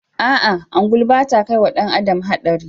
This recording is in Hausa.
A'a ungulu ba ta kai wa ɗan adam haɗari